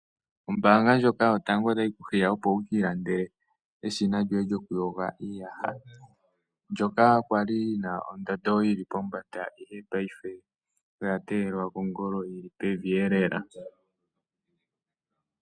Ombaanga ndjoka yotango yopashigwana otayi ku hiya opo wuka ilandele eshina lyoye lyo kuyoga iiyaha, ndyoka kwali lyina ondando yili pombanda, ihe ngaashingeyi oya teyelwa kongolo yili pevi lela.